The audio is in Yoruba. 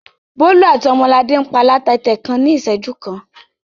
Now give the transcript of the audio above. Bólú àti Ọmọladé ń pa taata kan ní ìṣẹ́jú kan.